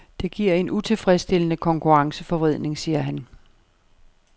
Det giver en utilfredsstillende konkurrenceforvridning, siger han.